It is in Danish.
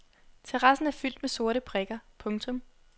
Terrassen er fyldt med sorte prikker. punktum